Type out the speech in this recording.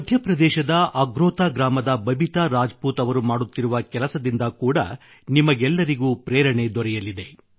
ಮಧ್ಯಪ್ರದೇಶದ ಅಗ್ರೋತಾ ಗ್ರಾಮದ ಬಬಿತಾ ರಾಜ್ ಪೂತ್ ಅವರು ಕೂಡಾ ಮಾಡುತ್ತಿರುವ ಕೆಲಸದಿಂದ ಕೂಡಾ ನಿಮಗೆಲ್ಲರಿಗೂ ಪ್ರೇರಣೆ ದೊರೆಯಲಿದೆ